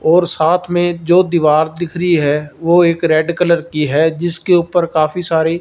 और साथ में जो दीवार दिख रही है वो रेड एक कलर की जिसके ऊपर काफी सारी--